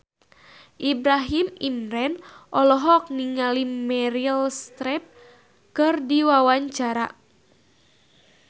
Ibrahim Imran olohok ningali Meryl Streep keur diwawancara